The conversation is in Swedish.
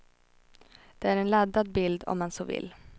Det är en laddad bild, om man så vill.